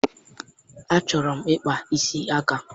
Achọrọ m ịkpa isi aka